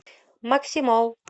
макси молл